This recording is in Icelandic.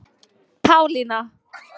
Pálína